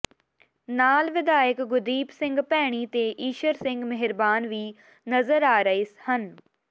ਨਾਲ ਵਿਧਾਇਕ ਗੁਰਦੀਪ ਸਿੰਘ ਭੈਣੀ ਤੇ ਈਸ਼ਰ ਸਿੰਘ ਮੇਹਰਬਾਨ ਵੀ ਨਜ਼ਰ ਆ ਰਹੇ ਹਨ